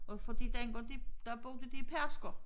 Og fordi den går de der brugte de Pedersker